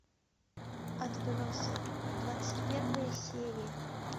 отбросы двадцать первая серия